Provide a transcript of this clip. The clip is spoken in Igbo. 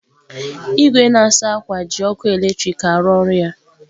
Igwe na-asa akwa ji ọkụ eletrik a-arụ ọrụ ya.